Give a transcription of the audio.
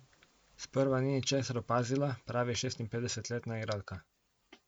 Sprva ni ničesar opazila, pravi šestinpetdesetletna igralka.